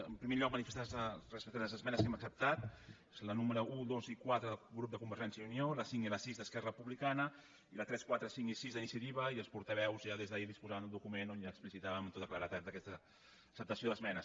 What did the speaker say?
en primer lloc manifestar nos respecte a les esmenes que hem acceptat les números un dos i quatre del grup de convergència i unió la cinc i la sis d’esquerra republicana i la tres quatre cinc i sis d’iniciativa i els portaveus ja des d’ahir disposaven d’un document on ja explicitàvem amb tota claredat aquesta acceptació d’esmenes